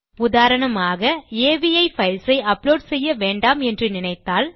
உதாரணமாக அவி பைல்ஸ் ஐ அப்லோட் செய்ய வேண்டாம் என்று நினைத்தால்